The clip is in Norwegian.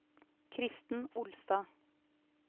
Kristen Olstad